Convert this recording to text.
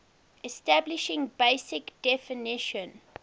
establishing basic definition